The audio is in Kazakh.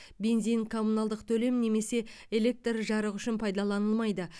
бензин коммуналдық төлем немесе электр жарығы үшін пайдаланылмайды